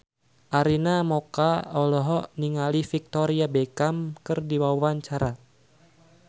Arina Mocca olohok ningali Victoria Beckham keur diwawancara